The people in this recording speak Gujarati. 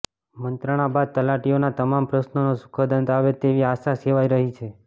મંત્રણા બાદ તલાટીઓનાં તમામ પ્રશ્ર્નોનો સુખદ અંત આવે તેવી આશા સેવાઈ રહી છે